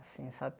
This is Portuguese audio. Assim, sabe?